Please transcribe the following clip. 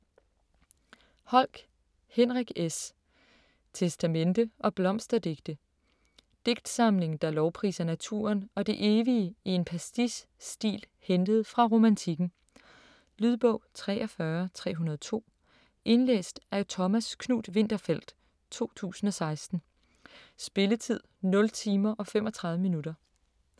Holck, Henrik S.: Testamente & blomsterdigte Digtsamling der lovpriser naturen og det evige i en pastiche-stil hentet fra Romantikken. Lydbog 43302 Indlæst af Thomas Knuth-Winterfeldt, 2016. Spilletid: 0 timer, 35 minutter.